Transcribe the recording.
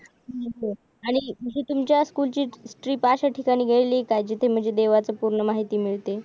आणि जी तुमच्या स्कूल ची ट्रिप अशा ठिकाणी गेली आहेका जिथे म्हणजे देवाची पूर्ण माहिती मिळते